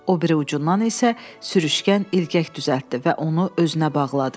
O biri ucundan isə sürüşkən ilgək düzəltdi və onu özünə bağladı.